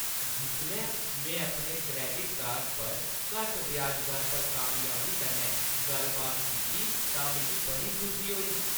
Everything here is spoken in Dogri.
जिसलै में अपने क्रैडिट कार्ड पर घट्ट ब्याज दर पर कामयाबी कन्नै गल्ल-बात कीती तां मिगी बड़ी खुशी होई।